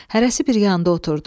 Hərəsi bir yanda oturdu.